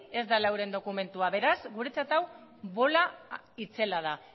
ez dela euren dokumentua beraz guretzat hau bola itzela da